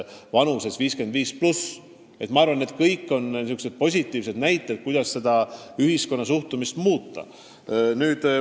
Ma arvan, et see on positiivne näide ühiskonna muutunud suhtumisest.